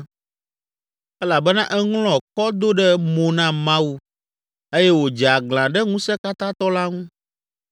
Elabena eŋlɔ kɔ do ɖe mo na Mawu eye wòdze aglã ɖe Ŋusẽkatãtɔ la ŋu,